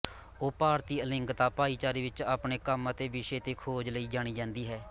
ਉਹ ਭਾਰਤੀ ਅਲਿੰਗਕਤਾ ਭਾਈਚਾਰੇ ਵਿੱਚ ਆਪਣੇ ਕੰਮ ਅਤੇ ਵਿਸ਼ੇ ਤੇ ਖੋਜ ਲਈ ਜਾਣੀ ਜਾਂਦੀ ਹੈ